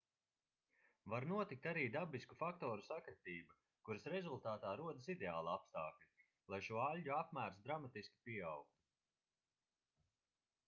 var notikt arī dabisku faktoru sakritība kuras rezultātā rodas ideāli apstākļi lai šo aļģu apmērs dramatiski pieaugtu